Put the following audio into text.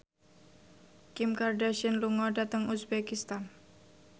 Kim Kardashian lunga dhateng uzbekistan